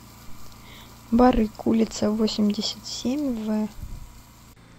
барык улица восемьдесят семь в